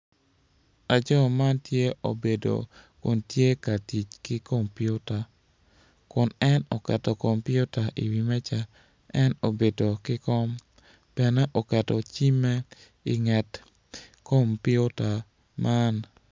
Laco man tye obedo kun tye ka tic ki kompiuta kun en oketo kompiuta i wi meja en obedo ki kom bene oketo cimme i nget kompiuta man